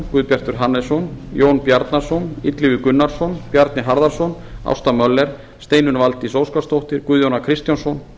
guðbjartur hannesson jón bjarnason illugi gunnarsson bjarni harðarson ásta möller steinunn valdís óskarsdóttir guðjón a kristjánsson